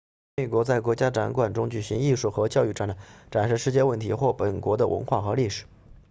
参与国在国家展馆中举办艺术和教育展览展示世界问题或本国的文化和历史